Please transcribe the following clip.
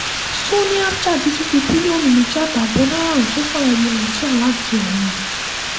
sanni abcha ti tún fi bílíọ̀nù méjì àtààbọ̀ náírà ránṣẹ́ sáwọn ọmọ nàìjíríà láti ọ̀run